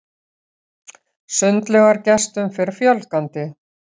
Sundlaugargestum fer fjölgandi